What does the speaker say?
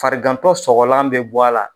Farigantɔ sɔgɔlan bɛ bɔ a la.